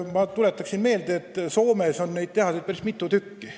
Ma tuletan meelde, et Soomes on niisuguseid tehaseid päris mitu tükki.